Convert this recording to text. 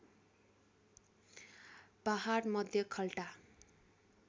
पहाड मध्य खाल्टा